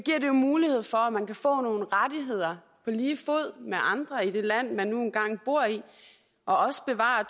mulighed for at man kan få nogle rettigheder på lige fod med andre i det land man nu engang bor i og også bevare